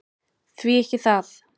Því ekki það!